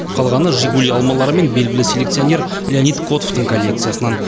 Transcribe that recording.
қалғаны жигули алмалары мен белгілі селекционер леонид котовтың коллекциясынан